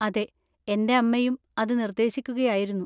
അതെ, എന്‍റെ അമ്മയും അത് നിർദ്ദേശിക്കുകയായിരുന്നു.